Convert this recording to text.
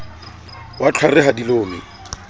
wa tlhware ha di lome